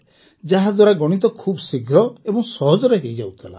ଯାହାଦ୍ୱାରା ଗଣିତ ବହୁତ ଶୀଘ୍ର ଓ ସହଜରେ ହୋଇଯାଉଥିଲା